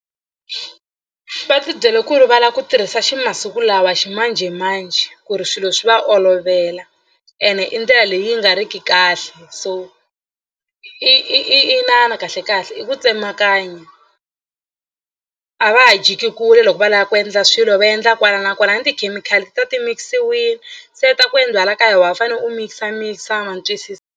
Va tibyele ku ri va la ku tirhisa ximasiku lawa ximanjhemanjhe ku ri swilo swi va olovela ene i ndlela leyi nga riki kahle so i i i i inana kahlekahle i ku tsemakanya a va ha jiki kule loko va lava ku endla swilo va endla kwala na kwala na tikhemikhali ti ta ti mix-iwini se ta ku endliwa la kaya wa ha fanele u mix-a mix-a ma ni twisisa.